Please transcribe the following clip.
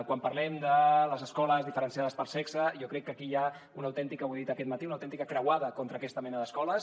quan parlem de les escoles diferenciades per sexe jo crec que aquí hi ha una autèntica ho he dit aquest matí croada contra aquesta mena d’escoles